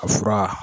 Ka fura